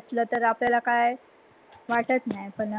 आता घरी असल्यावर कसं आपल्यला कही वाटत नाही पण